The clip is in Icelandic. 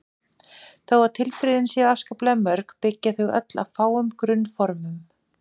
Þó að tilbrigðin séu afskaplega mörg byggja þau öll á fáum grunnformum.